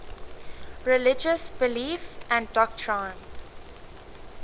religious belief and doctrine